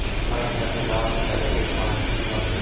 Rossiyaning Damashqdagi elchixonasi binosi.